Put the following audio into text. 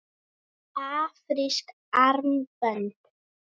Afrísk armbönd?